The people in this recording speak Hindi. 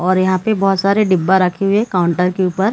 और यहाँ पे बहुत सारे डिब्बा रखे हुए हैं काउंटर के ऊपर।